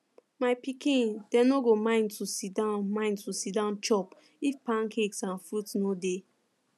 my pikin dem no go mind to siddon mind to siddon chop if pancakes and fruit dey